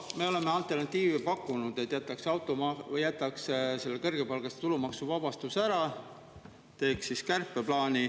Me oleme pakkunud alternatiivi, et jätaks selle kõrgepalgaliste tulumaksuvabastuse ära ja teeks kärpeplaani.